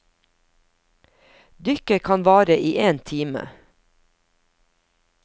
Dykket kan vare i én time.